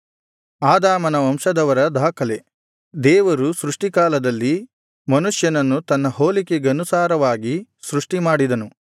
ಆದಾಮನ ವಂಶದವರ ದಾಖಲೆ ದೇವರು ಸೃಷ್ಟಿಕಾಲದಲ್ಲಿ ಮನುಷ್ಯನನ್ನು ತನ್ನ ಹೋಲಿಕೆಗನುಸಾರವಾಗಿ ಸೃಷ್ಟಿ ಮಾಡಿದನು